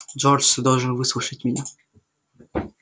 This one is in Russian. джордж ты должен выслушать меня